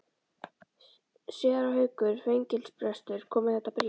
Séra Haukur fangelsisprestur kom með þetta bréf.